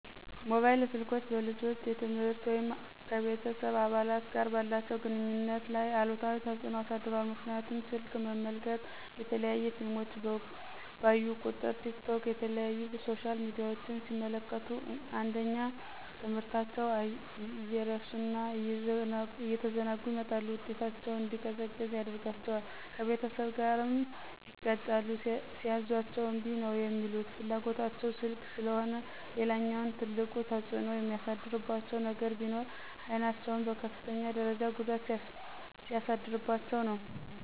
ሞባይል ስልኮች በልጆች የትምህርት ወይም ከቤተስብ አባላት ጋር ባላቸው ግንኙነት ላይ አሉታዊ ተፅኖ አሳድሯል ምክንያቱም ስልክ መመልከት፣ የተለያዩ ፊልሞችን ባዩ ቁጥር፣ ቲክቶክ የተለያዩ ሶሻል ሚዲያችን ሲመለክቱ አንደኛ ትምህርታቸውን እየረሱ እና እየተዘናጉ ይመጣሉ ውጤታቸው እንዲዘቀዝቅ ያደርጋቸዋል፣ ከቤተሰብ ጋርም ይጋጫሉ ሲያዝዟቸ እምቢ ነው ሚሉት ፍላጎታቸው ስልክ ስለሆነ። ሌላኛውና ትልቁ ተፅኖ የሚያሳድርባቸው ነገር ቢኖር አይናቸውን በከፍተኛ ደርጃ ጉዳት ሲያደርስባቸው ነው።